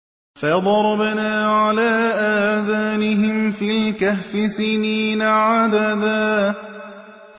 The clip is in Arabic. فَضَرَبْنَا عَلَىٰ آذَانِهِمْ فِي الْكَهْفِ سِنِينَ عَدَدًا